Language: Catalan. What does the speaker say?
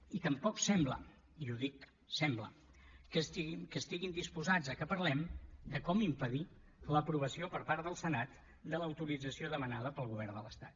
i tampoc sembla i dic sembla que estiguin disposats a que parlem de com impedir l’aprovació per part del senat de l’autorització demanada pel govern de l’estat